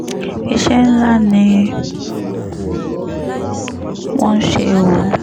iṣẹ́ ńlá ni wọ́n ń ṣe o